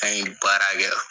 An ye baara kɛ.